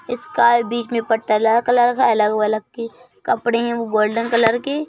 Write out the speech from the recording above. इसका बीच में पट्टा लाल कलर का अलग-वलग के कपड़े हैं वो गोल्डन कलर के --